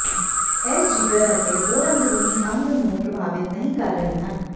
ਇਸ ਜਿਗਰ ਅਤੇ ਹੋਰ ਅੰਦਰੂਨੀ ਅੰਗ ਨੂੰ ਪ੍ਰਭਾਵਿਤ ਨਹੀ ਕਰ ਰਹੇ ਹਨ